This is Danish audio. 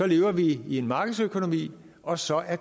lever vi i en markedsøkonomi og så er